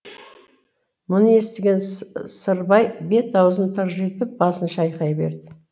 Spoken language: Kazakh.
мұны естіген сырбай бет аузын тыржитып басын шайқай береді